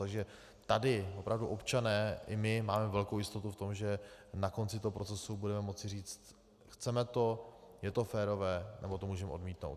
Takže tady opravdu občané i my máme velkou jistotu v tom, že na konci toho procesu budeme moci říct: chceme to, je to férové, nebo to můžeme odmítnout.